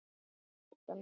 hvíslar röddin.